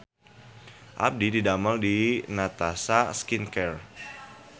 Abdi didamel di Natasha Skin Care